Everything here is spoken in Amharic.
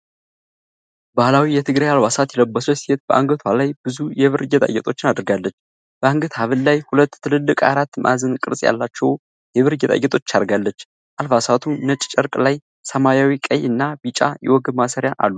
ባህላዊ የትግራይ አልባሳት የለበሰች ሴት በአንገቷ ላይ ብዙ የብር ጌጣጌጦችን አድርጋለች። በአንገት ሐብል ላይ ሁለት ትልልቅ አራት ማዕዘን ቅርጽ ያላቸው የብር ጌጣጌጦች አርጋለች። አልባሳቱ ነጭ ጨርቅ ላይ ሰማያዊ፣ ቀይ እና ቢጫ የወገብ ማሰሪያ አሉት።